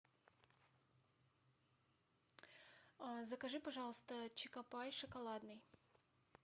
закажи пожалуйста чокопай шоколадный